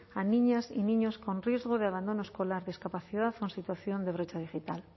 a niñas y niños con riesgo de abandono escolar discapacidad o en situación de brecha digital